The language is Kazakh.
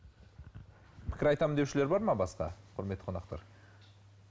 пікір айтамын деушілер бар ма басқа құрметті қонақтар